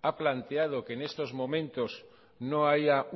ha planteado que en estos momentos no haya